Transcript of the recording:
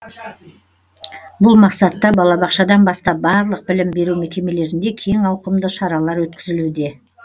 бұл мақсатта балабақшадан бастап барлық білім беру мекемелерінде кең ауқымды шаралар өткізілуде